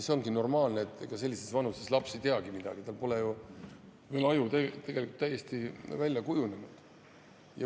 See ongi normaalne, ega sellises vanuses laps ei teagi midagi, tal pole ju veel aju täiesti välja kujunenud.